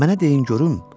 Mənə deyin görüm.